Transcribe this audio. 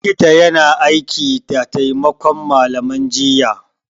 Likita yana aiki da taimakon malaman jinya